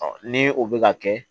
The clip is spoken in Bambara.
ni o bɛ ka kɛ